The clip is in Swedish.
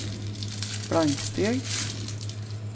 blanksteg